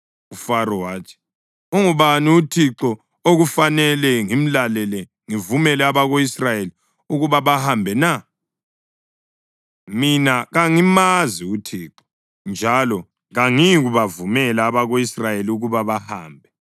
UFaro wathi, “Ungubani uThixo okufanele ngimlalele ngivumele abako-Israyeli ukuba bahambe na? Mina kangimazi uThixo, njalo kangiyikubavumela abako-Israyeli ukuba bahambe.”